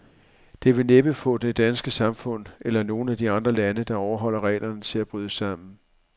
Det vil næppe få det danske samfund, eller nogen af de andre lande, der overholder reglerne, til at bryde sammen.